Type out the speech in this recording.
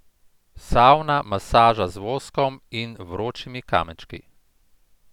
Savna, masaža z voskom in vročimi kamenčki.